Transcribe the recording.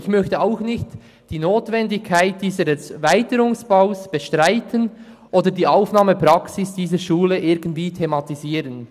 Ich möchte auch nicht die Notwendigkeit dieses Erweiterungsbaus bestreiten oder die Aufnahmepraxis dieser Schule irgendwie thematisieren.